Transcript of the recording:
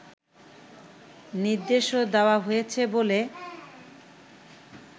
নির্দেশও দেওয়া হয়েছে বলে